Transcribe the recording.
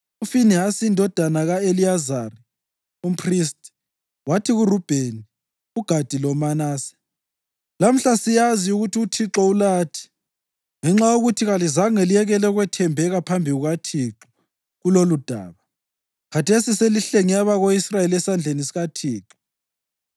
UFinehasi indodana ka-Eliyazari, umphristi, wathi kuRubheni, uGadi loManase, “Lamhla siyazi ukuthi uThixo ulathi, ngenxa yokuthi kalizange liyekele ukwethembeka phambi kukaThixo kuloludaba. Khathesi selihlenge abako-Israyeli esandleni sikaThixo.”